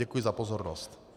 Děkuji za pozornost.